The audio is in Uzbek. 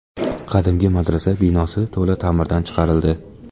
Qadimgi madrasa binosi to‘la ta’mirdan chiqarildi.